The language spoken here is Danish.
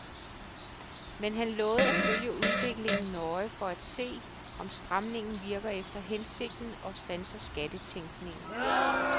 Men han lovede at følge udviklingen nøje for at se, om stramningen virker efter hensigten og standser skattetænkning.